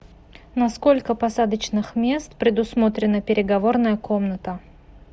на сколько посадочных мест предусмотрена переговорная комната